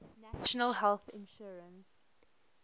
national health insurance